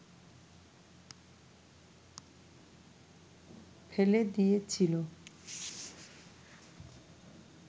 ফেলে দিয়েছিল